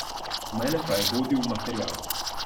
Mene pa je vodil material.